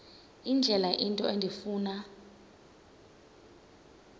indlela into endifuna